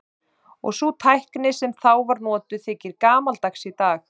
Og sú tækni sem þá var notuð þykir gamaldags í dag.